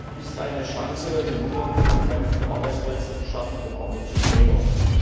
Dies ist eine Chance, den Hunger zu bekämpfen, Arbeitsplätze zu schaffen und Armut zu verringern.